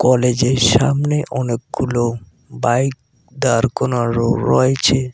কলেজের সামনে অনেকগুলো বাইক দাঁড় কোনারো রয়েছে।